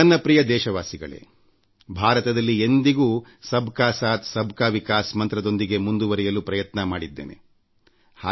ನನ್ನ ಪ್ರೀತಿಯ ದೇಶವಾಸಿಗಳೇ ಭಾರತದಲ್ಲಿ ಎಂದಿಗೂ ಸಬ್ ಕಾ ಸಾಥ್ ಸಬ್ ಕಾ ವಿಕಾಸ್ ಎಲ್ಲರೊಂದಿಗೆ ಎಲ್ಲರ ಪ್ರಗತಿ ಎಂಬ ಮಂತ್ರದೊಂದಿಗೆ ಮುಂದುವರೆಯಲು ಪ್ರಯತ್ನ ಮಾಡಿದ್ದೇನೆ